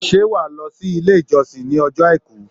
Ṣé wàá lọ sí Ilé ìjọsìn ìj ní ojó Àìkú